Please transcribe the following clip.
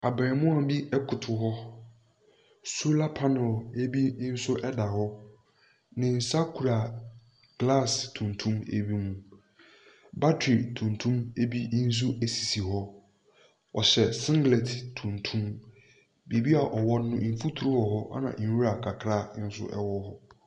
Abeemua bi ɛkoto hɔ, sola panɛl ebi nso ɛda hɔ. Ne sa kura glas tuntum ebi mu, batri tuntum ebi nso esisi hɔ. Wɔhyɛ singlɛt tuntum, beebi a ɔwɔ no mfuturo wɔ hɔ nna nwura kakra nso ɛwɔ hɔ.